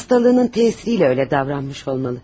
Hastalığının tesiriyle öyle davranmış olmalı.